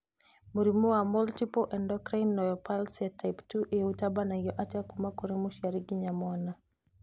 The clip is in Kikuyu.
Mũrimũ wa multiple endocrine neoplasia type 2A ũngĩtambio atĩa kuma kũrĩ mũciari nginya mwana?